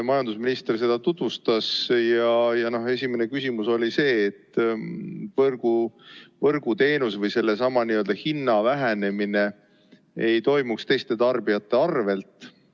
Majandusminister seda tutvustas ja esimene küsimus oli see, et võrguteenuse hinna vähenemine ei toimuks teiste tarbijate arvelt.